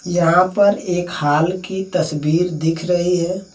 यहाॅं पर एक हॉल की तस्वीर दिख रही है।